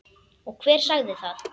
Og hver sagði það?